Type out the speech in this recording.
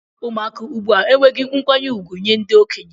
Ụmụaka ugbua enwehi nkwanye ugwu nye ndi okenye.